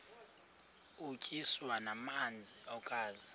utyiswa namasi ukaze